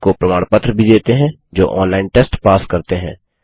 उनको प्रमाण पत्र भी देते हैं जो ऑनलाइन टेस्ट पास करते हैं